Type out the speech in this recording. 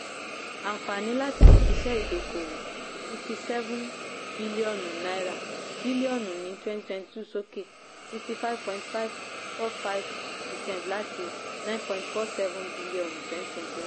ànfàní láti iṣẹ́ ìdókòwò sixty seven bíllíọ̀nù bíllíọ̀nù ní twenty twenty two sókè sixty five point five four five percent láti nine point four seven bíllíọ̀nù twenty twenty one.